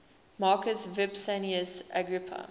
marcus vipsanius agrippa